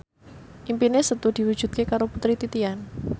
impine Setu diwujudke karo Putri Titian